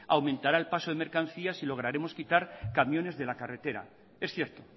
aumentará el paso de mercancías y lograremos quitar camiones de la carretera es cierto